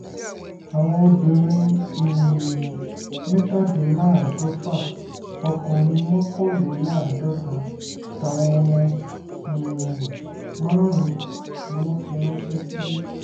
àwọn obìnrin um mẹ́tàdínláàádọ́fà ọkùnrin mọ́kànléláàádọ́ta àtàwọn ọmọ um márùn-ún ni wọ́n fi ránṣẹ́ sílé